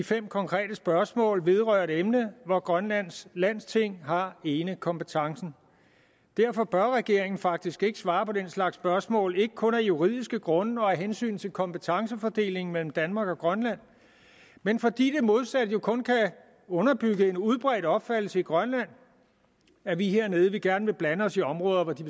fem konkrete spørgsmål vedrører et emne hvor grønlands landsting har enekompetencen derfor bør regeringen faktisk ikke svare på den slags spørgsmål og kun af juridiske grunde og af hensyn til kompetencefordelingen mellem danmark og grønland men fordi det modsatte jo kun kan underbygge en udbredt opfattelse i grønland af at vi hernede gerne vil blande os i områder hvor de